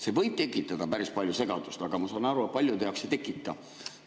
See võib tekitada päris palju segadust, aga ma saan aru, et paljude jaoks ei tekita.